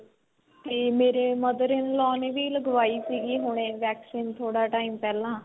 ਤੇ ਮੇਰੇ mother in law ਨੇ ਵੀ ਲਗਵਾਈ ਸੀਗੀ ਹੁਣੇ vaccine ਥੋੜਾ time ਪਹਿਲਾਂ